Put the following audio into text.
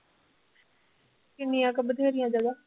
ਕਿੰਨੀਆਂ ਕੁ ਬਥੇਰੀਆਂ ਜਗ੍ਹਾ